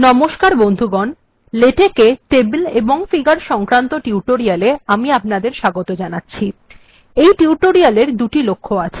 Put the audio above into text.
নমস্কার বন্ধুগণ লেটেক্ এ টেবিল এবং ফিগার্ সংক্রান্ত টিউটোরিয়াল্ এ আমি আপনাদের স্বাগত জানাচ্ছি এই টিউটোরিয়াল্ এর দুটি লক্ষ্য আছে